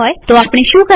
આપણે શું કરી શકીએ